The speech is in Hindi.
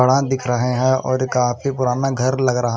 पडा दिख रहे है और काफी पुराना घर लग रहा--